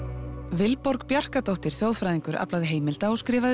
Vilborg þjóðfræðingur aflaði heimilda og skrifaði